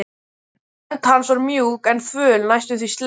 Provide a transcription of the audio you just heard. Hönd hans var mjúk en þvöl, næstum því sleip.